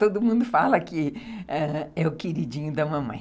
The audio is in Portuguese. Todo mundo fala que ãh é o queridinho da mamãe.